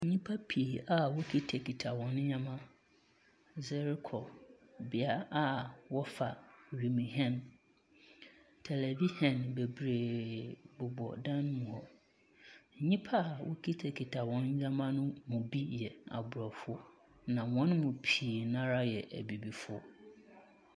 Nnipa pii a wɔkitakita wɔn nneɛma de rokɔ bea a wɔfa wiemhɛn. Tɛlɛvihyen bebree bobɔ dan mu hɔ. Nyimpa a wɔkitakita wɔn nneɛma no mu bi yɛ aborɔfo, na wɔn mu pii no ara yɛ abibifoɔ.